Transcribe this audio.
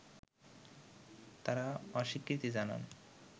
তারা অস্বীকৃতি জানান